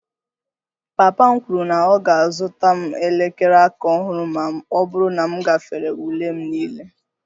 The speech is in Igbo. Papa m kwuru na ọ ga-azụta m elekere aka ọhụrụ ma ọ bụrụ na m gafere ule m niile